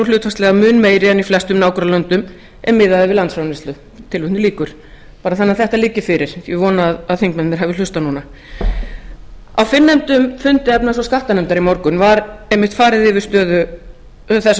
og er nú hlutfallslega mun meiri en í flestum nágrannalöndum ef miðað er við landsframleiðslu bara þannig að þetta liggi fyrir ég vona að þingmennirnir hafi hlustað núna á fyrrnefndum fundi efnahags og skattanefndar í morgun var einmitt farið yfir þessa